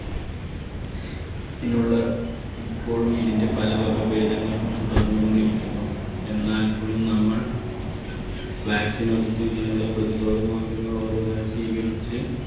ഇപ്പോഴും ഇതിൻറെ പല വകഭേദങ്ങളും തുടർന്നുകൊണ്ടിരിക്കുന്നു എന്നാൽ പോലും നമ്മൾ vaccine എടുത്ത് ഇതിനുള്ള പ്രതിരോധ മാർഗങ്ങൾ ഓരോന്നായി സ്വീകരിച്ച്